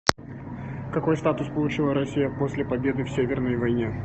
какой статус получила россия после победы в северной войне